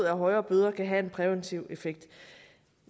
at højere bøder kan have en præventiv effekt